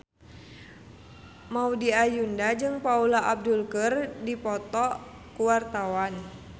Maudy Ayunda jeung Paula Abdul keur dipoto ku wartawan